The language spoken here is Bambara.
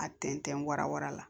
A tɛntɛn warawa la